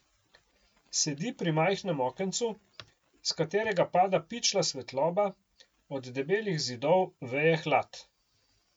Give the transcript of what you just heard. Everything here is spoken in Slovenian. Sedi pri majhnem okencu, s katerega pada pičla svetloba, od debelih zidov veje hlad.